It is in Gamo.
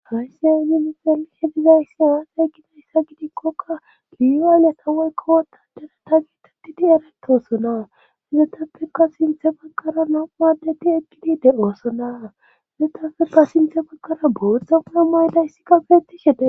Alayssiya ininixelihe dizayssi aaxe gidayssa gidikkoka liyaayle tawoykko wotadere ta giitettidi eraytoosona hizetafekka sinthe baqaraa naquwadeti ekkidide oosona izetafekka sinthe bakkaraa boothtdza quna mayda issikabeetishede